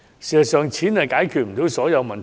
事實上，錢解決不到所有問題。